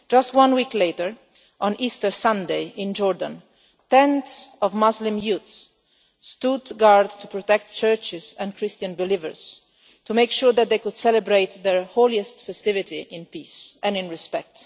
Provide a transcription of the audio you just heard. Just a week later, on Easter Sunday in Jordan, tens of Muslim youths stood guard to protect churches and Christian believers to make sure that they could celebrate their holiest festivity in peace and respect.